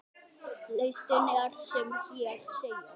Listinn er sem hér segir